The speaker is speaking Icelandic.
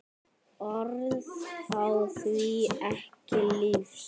Orð fá því ekki lýst.